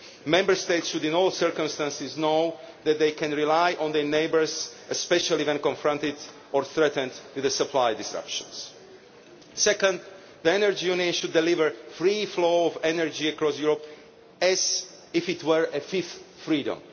Member States should in all circumstances know that they can rely on their neighbours, especially when confronted or threatened with supply disruptions. Second, the Energy Union should deliver a free flow of energy across Europe as if it were a fifth freedom.